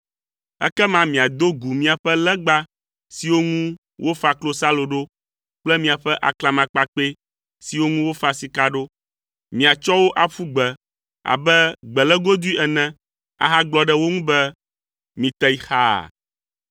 Ekema miado gu miaƒe legba siwo ŋu wofa klosalo ɖo kple miaƒe aklamakpakpɛ siwo ŋu wofa sika ɖo. Miatsɔ wo aƒu gbe abe gbelégodoe ene ahagblɔ ɖe wo ŋu be, “Mite yi xaa.”